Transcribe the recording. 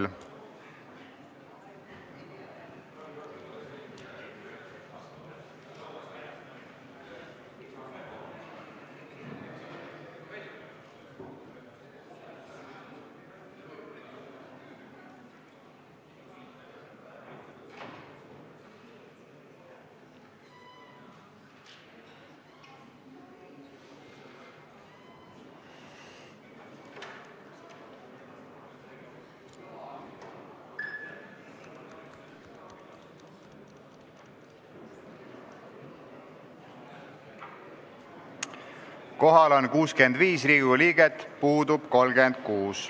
Kohaloleku kontroll Kohal on 65 Riigikogu liiget, puudub 36.